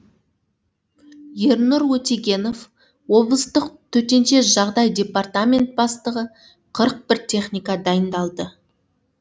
ернұр өтегенов облыстық төтенше жағдай департаменті бастығы қырық бір техника дайындалды